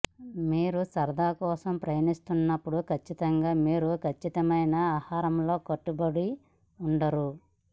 మీరు సరదా కోసం ప్రయాణిస్తున్నప్పుడు ఖచ్చితంగా మీరు ఖచ్చితమైన ఆహారంలో కట్టుబడి ఉండరు